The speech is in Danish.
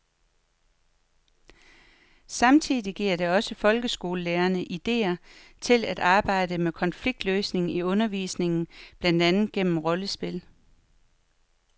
Samtidig giver det også folkeskolelærerne idéer til at arbejde med konfliktløsning i undervisningen, blandt andet gennem rollespil.